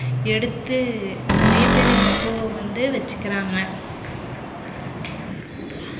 எடுத்து நிறைய பேர் இந்த பூவ வந்து வச்சுக்கறாங்க